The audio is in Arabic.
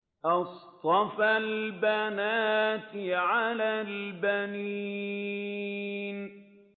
أَصْطَفَى الْبَنَاتِ عَلَى الْبَنِينَ